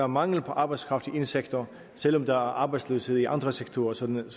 mangel på arbejdskraft i en sektor selv om der er arbejdsløshed i andre sektorer sådan